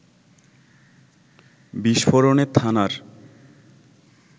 বিস্ফোরণে থানার